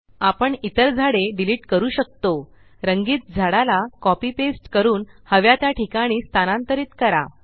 आपण इतर झाडे डिलीट करू शकतो रंगीत झाडाला कॉपी पेस्ट करून हव्या त्या ठिकाणी स्थानांतरीत करा